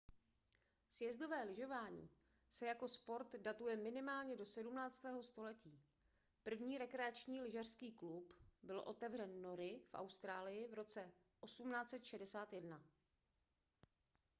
sjezdové lyžování se jako sport datuje minimálně do 17. století první rekreační lyžařský klub byl otevřen nory v austrálii v roce 1861